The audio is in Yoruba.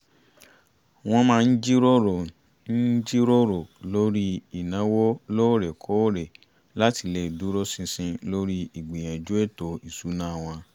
wọ́n máa ń jíròrò ń jíròrò lórí ìnáwó lóorekóòrè láti lè dúró ṣinṣin lórí ígbìyànjú ètò ìṣúná wọn